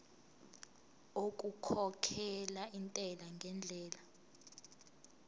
okukhokhela intela ngendlela